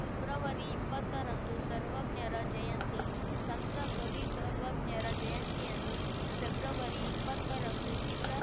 ಫೆಬ್ರವರಿಇಪ್ಪತ್ತರಂದು ಸರ್ವಜ್ಞರ ಜಯಂತಿ ಸಂತ ಕವಿ ಸರ್ವಜ್ಞರ ಜಯಂತಿಯನ್ನು ಫೆಬ್ರವರಿಇಪ್ಪತ್ತ ರಂದು ಜಿಲ್ಲಾ